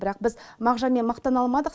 бірақ біз мағжанмен мақтана алмадық